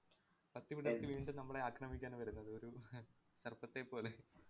പത്തി വിടര്‍ത്തി വീണ്ടും നമ്മളെ അക്രമിക്കാൻ വരുന്നത്. ഒരു സര്‍പ്പത്തെ പോലെ